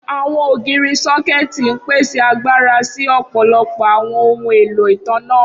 Awọn ogiri sọkẹti n pese agbara si ọpọlọpọ awọn ohun elo itanna.